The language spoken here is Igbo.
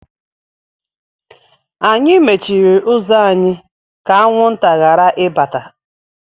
Anyị mechiri ụzọ anyị ka anwụnta ghara ibata.